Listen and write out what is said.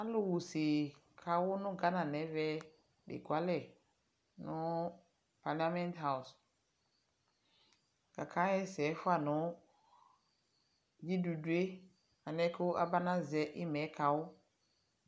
Alu wa use nawu Ghana nɛmɛ eekualɛ nu paliament house kake buɛlu nalɛnɛɖʒiɖuɖue maʒɛ iimae kawu